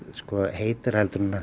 heitar en